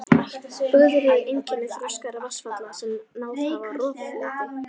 Bugður eru einkenni þroskaðra vatnsfalla sem náð hafa roffleti.